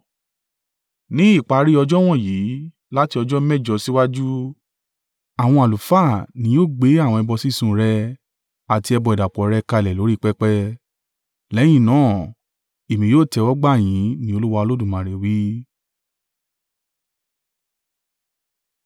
Ní ìparí ọjọ́ wọ̀nyí, láti ọjọ́ mẹ́jọ síwájú, àwọn àlùfáà ni yóò gbé àwọn ẹbọ sísun rẹ àti ẹbọ ìdàpọ̀ rẹ̀ kalẹ̀ lórí pẹpẹ. Lẹ́yìn náà, èmi yóò tẹ́wọ́gbà yín ní Olúwa Olódùmarè wí.”